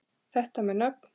Þetta með nöfn